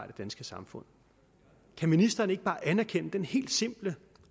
det danske samfund kan ministeren ikke bare anerkende den helt simple